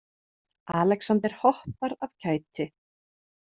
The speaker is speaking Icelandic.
Alexander hoppar af kæti.